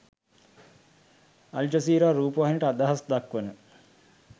Al Jazeera රූපවාහිනියට අදහස් දක්වන